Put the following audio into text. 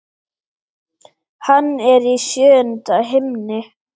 Hann er í sjöunda himni.